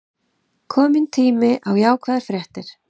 Kominn tími á jákvæðar fréttir